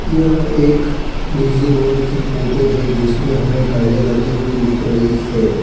यह एक busy road की फोटो है जिसमें हमें गाड़ियां जाती हुई दिख रही है।